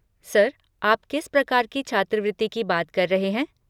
Sir, आप किस प्रकार की छात्रवृत्ति की बात कर रहे हैं?